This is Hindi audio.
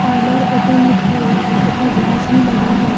पार्लर ओपन लिखा हुआ है तथा ग्लास भी लगा है।